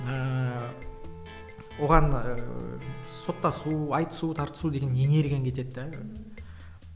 ыыы оған ыыы соттасу айтысу тартысу деген энергияң кетеді де